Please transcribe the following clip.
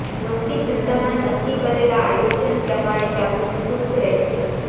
નોકરી ધંધામાં નક્કી કરેલા આયોજન પ્રમાણે ચાલવું શુભ રહેશે